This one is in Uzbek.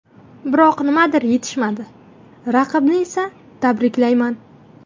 Biroq nimadir yetishmadi, raqibni esa tabriklayman.